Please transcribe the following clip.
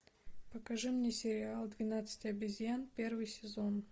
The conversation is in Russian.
покажи мне сериал двенадцать обезьян первый сезон